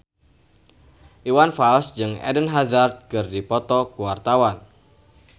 Iwan Fals jeung Eden Hazard keur dipoto ku wartawan